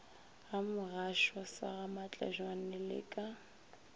gamogashoa sa gamatlebjane le ka